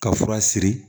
Ka fura siri